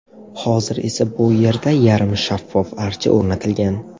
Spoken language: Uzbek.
Hozir esa bu yerda yarim shaffof archa o‘rnatilgan.